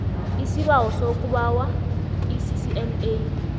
isibawo sokubawa iccma